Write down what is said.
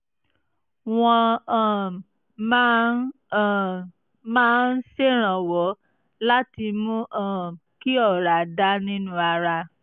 wọ́n um máa ń um máa ń ṣèrànwọ́ láti mú um kí ọ̀rá dà nínú ara